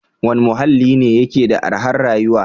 Wane muhalli ne yake da arhar rayuwa?